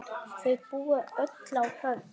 Þau búa öll á Höfn.